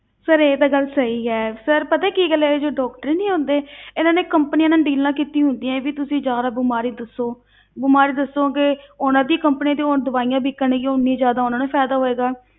Sir ਇਹ ਤਾਂ ਗੱਲ ਸਹੀ ਹੈ sir ਪਤਾ ਹੈ ਕੀ ਗੱਲ ਹੈ ਜੋ doctor ਨੀ ਆਉਂਦੇ ਇਹਨਾਂ ਨੇ companies ਨਾਲ ਡੀਲਾਂ ਕੀਤੀ ਹੁੰਦੀਆਂ ਵੀ ਤੁਸੀਂ ਜ਼ਿਆਦਾ ਬਿਮਾਰੀ ਦੱਸੋ ਬਿਮਾਰੀ ਦੱਸੋਂਗੇ, ਉਨ੍ਹਾਂ ਦੀ companies ਦੀ ਹੁਣ ਦਵਾਈਆਂ ਵਿਕਣਗੀਆਂ ਉਨੀ ਜ਼ਿਆਦਾ ਉਨ੍ਹਾਂ ਨੂੰ ਫ਼ਾਇਦਾ ਹੋਵੇਗਾ